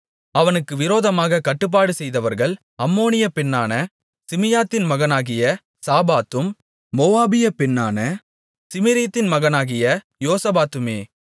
அவனுக்கு விரோதமாகக் கட்டுப்பாடு செய்தவர்கள் அம்மோனிய பெண்ணான சிமியாத்தின் மகனாகிய சாபாத்தும் மோவாபியப் பெண்ணான சிமிரீத்தின் மகனாகிய யோசபாத்துமே